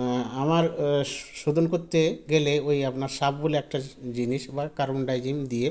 আ আমার আ শ শোধন করতে গেলে ঐ আপনার shap বলে একটা জি জিনিস বা carbon dygen দিয়ে